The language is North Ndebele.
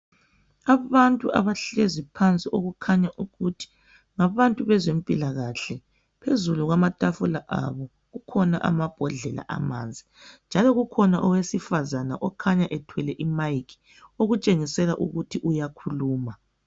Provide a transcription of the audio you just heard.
Abantu abahlezi phansi okukhanya ukuthi ngabezempilakahle. Phezulu kwamatafula abo kukhona amabhodlela amanzi, njalo kukhona owesifazana okhanya ethwele imayikhi okutshengisela ukuthi uyakhuluma.